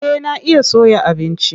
Eh na iya soya abinci.